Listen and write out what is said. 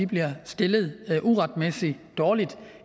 bliver stillet uretmæssigt dårligt